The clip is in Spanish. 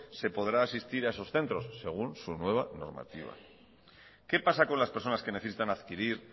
se podrá asistir a esos centros según su nueva normativa qué pasa con las personas que necesitan adquirir